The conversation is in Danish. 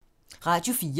Radio 4